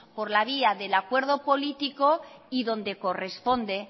por la vía del acuerdo político y donde corresponde